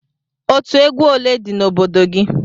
Otú egwu ole dị n'obodo gị?